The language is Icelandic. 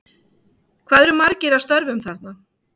Hvað eru margir að störfum þarna?